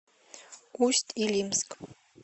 усть илимск